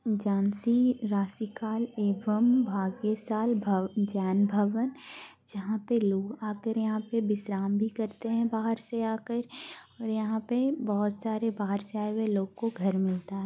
झांसी राशिकाल एवं भाग्यशाल भब जैनभवन जहाँ पे लोग आ कर यहाँ पे बिश्राम भी करते है बाहर से आकार और यहाँ पे बहुत सारे बाहर से आए हुए लोगों को घर मिलता है।